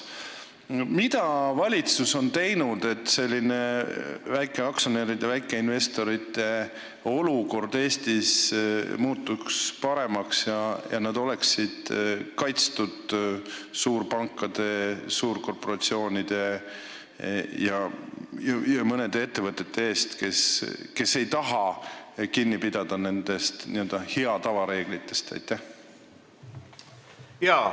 Mida valitsus on teinud, et väikeaktsionäride ja väikeinvestorite olukord Eestis muutuks paremaks ja nad oleksid kaitstud suurpankade, suurkorporatsioonide ja mõne ettevõtte eest, kes ei taha kinni pidada nendest n-ö hea tava reeglitest?